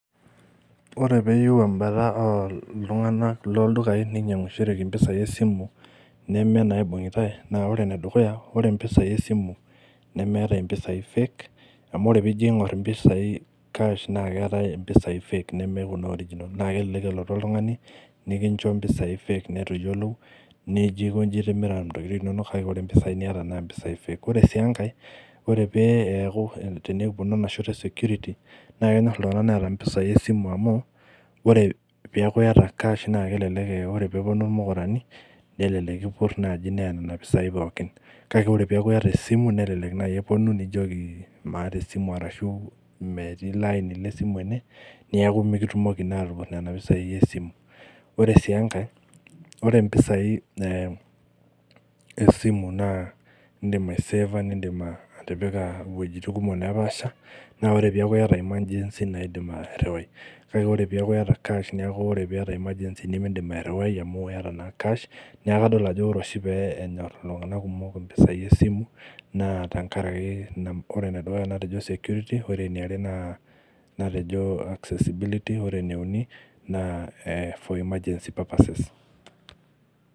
Ore peeyieu embata oltung'anak loldukai ninyiang'ishoreki impisai esimu neme inaibung'itae naa ore enedukuya ore impisai esimu nemeetae impisai fake amu ore piijo aing'orr impisai cash naa keetae impisai fake neme kuna original naa kelelek elotu oltung'ani nikincho impisai fake nitu iyiolou nijio aikonji itimira intokiting inonok kake ore impisai niata naa impisai [csfake ore sii enkae ore pee eeku tenikiponu ena shoto e security naa kenyorr iltung'anak neeta impisai esimu amu ore piaku iyata cash naa kelelek eh wore peponu irmukurani nelelek kipurr naaji neya nena pisai pookin kake ore peeku iyata esimu nelelek naaji eponu nijioki maata esimu arashu metii ilo aini lesimu ene neeku mikitumoki naa atupurr nena pisai esimu ore sii enkae ore impisai eh esimu naa indim aisefa nindim uh atipika iwueijitin kumok nepaasha naa ore piaku iyata emergency naidim ae airriwai kake pore piyata cash niaku kadol ajo ore oshi pee enyorr iltung'anak kumok impisai esimu naa tankaraki ore enedukuya natejo security ore eniare naa natejo accessibility ore eneuni naa eh for emergency purposes.